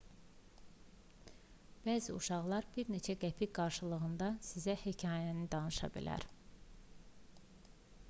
bəzi uşaqlar bir neçə qəpik qarşılığında sizə hekayəni danışa bilər